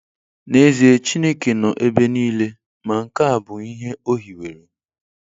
N'ezie Chineke nọ ebe niile, ma nke a bụ ihe O hiwere.